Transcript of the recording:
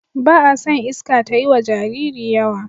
Ba a son iska tayiwa Jariri yawa